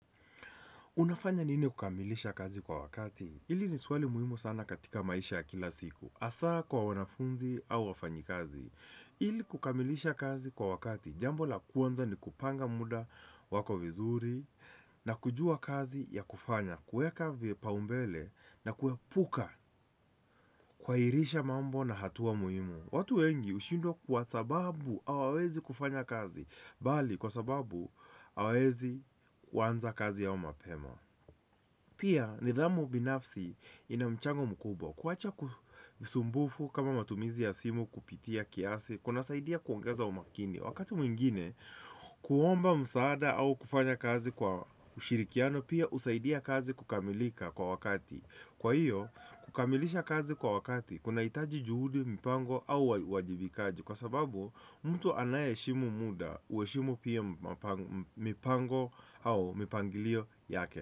Unafanya nini kukamilisha kazi kwa wakati? Hili ni swali muhimu sana katika maisha ya kila siku. Hasa kwa wanafunzi au wafanyikazi. Ili kukamilisha kazi kwa wakati. Jambo la kwanza ni kupanga muda wako vizuri na kujua kazi ya kufanya. Kuweka vipaumbele na kuepuka, kuhahirisha mambo na hatua muhimu. Watu wengi hushindwa kwa sababu hawezi kufanya kazi. Bali kwa sababu hawawezi kuanza kazi yao mapema. Pia, nidhamu binafsi ina mchango mkubwa. Kuwacha usumbufu kama matumizi ya simu kupitia kiasi, kunasaidia kuongeza umakini. Wakati mwingine, kuomba msaada au kufanya kazi kwa ushirikiano, pia husaidia kazi kukamilika kwa wakati. Kwa hiyo, kukamilisha kazi kwa wakati, kunahitaji juhudi, mipango au uwajibikaji. Kwa sababu, mtu anayeheshimu muda, huheshimu pia mipango au mipangilio yake.